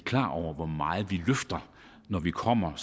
klar over hvor meget vi løfter når vi kommer